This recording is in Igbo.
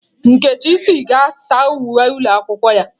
Nkechi sị gị saa uwe ụlọ akwụkwọ ya.